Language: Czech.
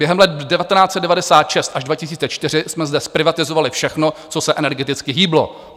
Během let 1996 až 2004 jsme zde zprivatizovali všechno, co se energeticky hýblo.